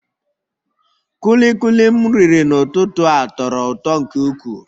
Kulikuli m riri n'ụtụtụ a tọrọ ụtọ nke ukwuu